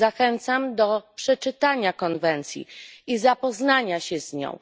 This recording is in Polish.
Zachęcam do przeczytania konwencji i zapoznania się z nią.